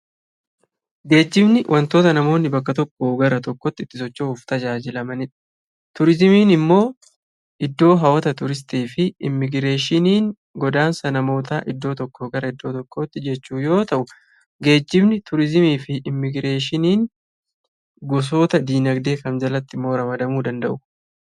Geejjibni wantoota namoonni bakka tokkoo gara tokkootti itti socho'uuf tajaajilamanii dha. Turizimiin immoo iddoo hawwata turistii fi immigireeshiniin godaansa namootaa iddoo tokkoo gara iddoo tokkootti jechuu yoo ta'u, geejjibni, turizimii fi immigireeshiniin gosoota diinagdee kam jalattimmoo ramadamuu danada'u?